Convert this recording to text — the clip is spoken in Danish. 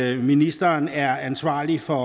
at ministeren er ansvarlig for